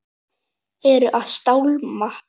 Er að stálma.